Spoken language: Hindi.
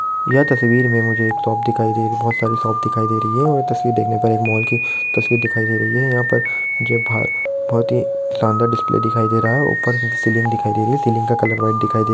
यह तस्वीर मे मुझे एक शॉप दिखाई दे रहीं हैंबहोत सारी शॉप दिखाई दे रही हैं और ये तस्वीर देखने पर एक मॉल की तस्वीर दिखाई दे रही हैं यहाँ पर बहोत ही सानदार डिस्प्ले दिखाई दे रहा हैंऊपर सीलिंग दिखाई दे रही हैं सीलिंग का कलर व्हाइट दिखाई दे रहा हैं।